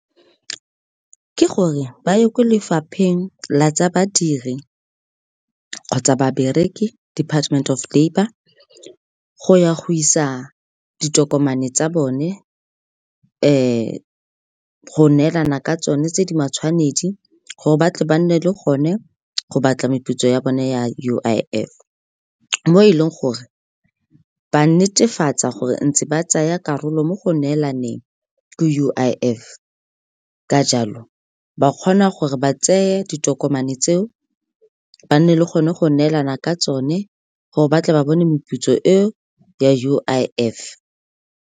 Ke gore ba ye kwa lefapheng la tsa badiri kgotsa babereki, Department of Labour, go ya go isa ditokomane tsa bone go neelana ka tsone tse di matshwanedi gore batle ba nne le gone go batla meputso ya bone ya U_I_F. Mo e leng gore ba netefatsa gore ntse ba tsaya karolo mo go neelaneng ka U_I_F, ka jalo, ba kgona gore ba tseye ditokomane tse o ba nne le gone go neelana ka tsone gore ba tle ba bone moputso eo ya U_I_F.